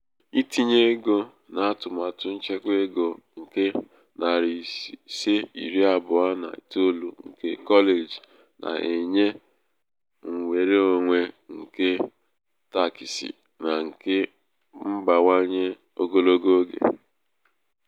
itinye ego n'atụmatụ nchekwa ego nke nari ise iri abụọ na itoolu nke kọleji na-enye nnwereonwe nke takịsị na nke mbawanye ogologo oge.